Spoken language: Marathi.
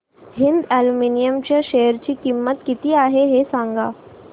हिंद अॅल्युमिनियम च्या शेअर ची किंमत काय आहे हे सांगा